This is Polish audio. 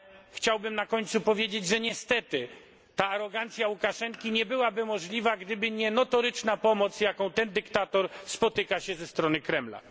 Chciałbym na koniec powiedzieć, że niestety ta arogancja Łukaszenki nie byłaby możliwa, gdyby nie notoryczna pomoc, z jaką ten dyktator spotyka się ze strony Kremla.